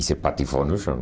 E se patifou no chão.